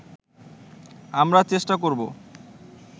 আমরা চেষ্টা করব